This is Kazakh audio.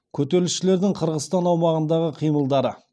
көтерілісшілердің қырғызстан аумағындағы қимылдары